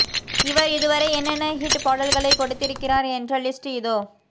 இவர் இதுவரை என்னென்ன ஹிட் பாடல்களை கொடுத்திருக்கிறார் என்ற லிஸ்ட் இதோ